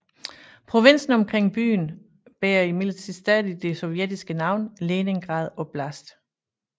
Provinsen omkring byen bærer imidlertid stadig det sovjetiske navn Leningrad oblast